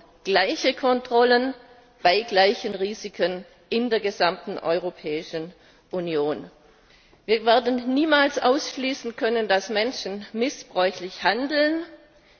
Wir brauchen gleiche Kontrollen bei gleichen Risiken in der gesamten Europäischen Union. Wir werden niemals ausschließen können, dass Menschen missbräuchlich handeln,